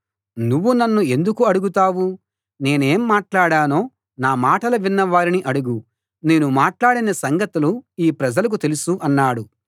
నువ్వు నన్ను ఎందుకు అడుగుతావు నేనేం మాట్లాడానో నా మాటలు విన్న వారిని అడుగు నేను మాట్లాడిన సంగతులు ఈ ప్రజలకు తెలుసు అన్నాడు